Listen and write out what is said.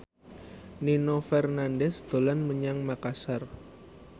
Nino Fernandez dolan menyang Makasar